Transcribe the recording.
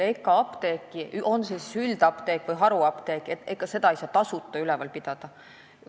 Ega apteeki, on see siis üldapteek või haruapteek, ei saa tasuta üleval pidada.